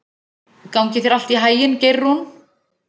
Gangi þér allt í haginn, Geirrún.